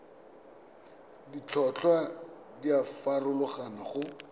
ditlhotlhwa di a farologana go